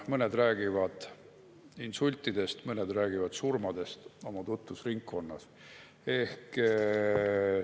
Mõned räägivad insultidest, mõned räägivad surmadest oma tutvusringkonnas.